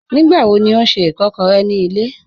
Nígbàwọ̀ ní ọ̀ n ṣẹ́ ìkàkọ̀rẹ̀ ní ilẹ̀?